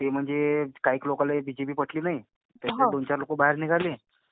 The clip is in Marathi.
ते म्हणजे काहीक लोकांना बीजेपी पटली नाही. त्यातले दोनचार लोकं बाहेर निघाले.